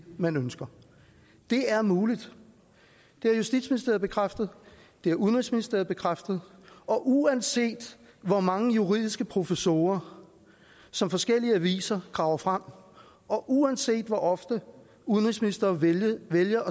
man ønsker det er muligt det har justitsministeriet bekræftet det har udenrigsministeriet bekræftet og uanset hvor mange juridiske professorer som forskellige aviser graver frem og uanset hvor ofte udenrigsministeren vælger